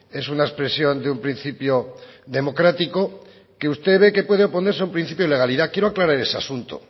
es una expresión de un principio democrático que usted ve que puede oponerse a un principio de legalidad quiero aclarar ese asunto